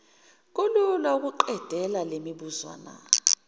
kulula ukuqedela lemibuzwana